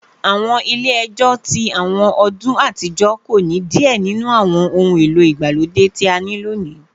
Awọn ile-ẹjọ ti awọn ọdun atijọ ko ni diẹ ninu awọn ohun elo igbalode ti a ni loni